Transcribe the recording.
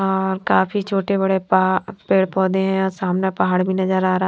और काफी छोटे बड़ेपह पेड़ पौधे हैं और सामने पहाड़ भी नज़र आ रहा हैं।